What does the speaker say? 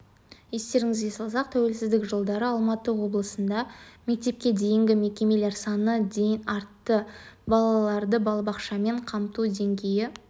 естеріңізге салсақ тәуелсіздік жылдары алматы облысында мектепке дейінгі мекемелер саны дейін артты балаларды балабақшамен қамту деңгейі